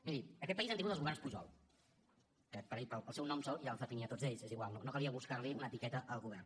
miri en aquest país hem tingut els governs pujol i el seu nom sol ja els definia a tots ells és igual no calia buscar li una etiqueta al govern